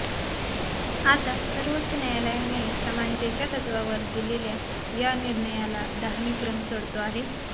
आता सर्वोच्च न्यायालयाने समानतेच्या तत्त्वावर दिलेल्या या निर्णयाला धार्मिक रंग चढतो आहे